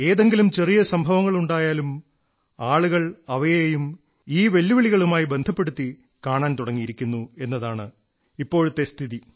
ഏതെങ്കിലും ചെറിയ സംഭവങ്ങളുണ്ടായാലും ആളുകൾ അവയെയും ഈ വെല്ലുവിളികളുമായി ബന്ധപ്പെടുത്തി കാണാൻ തുടങ്ങിയിരിക്കുന്നു എന്നതാണ് ഇപ്പോഴത്തെ സ്ഥിതി